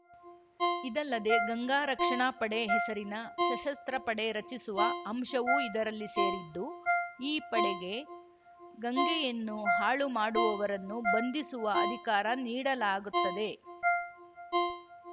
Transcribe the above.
ಇದಲ್ಲದೆ ಗಂಗಾ ರಕ್ಷಣಾ ಪಡೆ ಹೆಸರಿನ ಸಶಸ್ತ್ರ ಪಡೆ ರಚಿಸುವ ಅಂಶವೂ ಇರದಲ್ಲಿ ಸೇರಿದ್ದು ಈ ಪಡೆಗೆ ಗಂಗೆಯನ್ನು ಹಾಳು ಮಾಡುವವರನ್ನು ಬಂಧಿಸುವ ಅಧಿಕಾರ ನೀಡಲಾಗುತ್ತದೆ